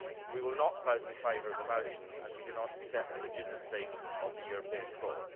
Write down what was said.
We will not vote in favour of the motion as we do not accept the legitimacy of the European Court.